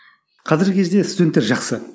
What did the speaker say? қазіргі кезде студенттер жақсы